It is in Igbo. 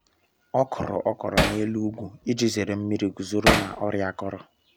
ọkuru okro na’elu ugwu iji zere nmiri guzoro na ọrịa akọrọ.